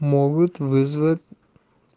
могут вызвать